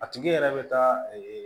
A tigi yɛrɛ bɛ taa